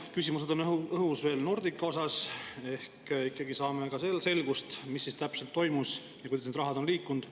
Veel on õhus küsimused Nordica kohta, ehk ikkagi saame ka selles selgust, mis täpselt toimus ja kuidas raha on liikunud.